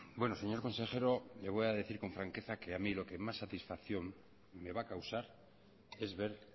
bueno señor consejero le voy a decir con franqueza que a mí lo que más satisfacción me va a causar es ver